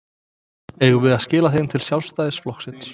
Eigum við að skila þeim til Sjálfstæðisflokksins?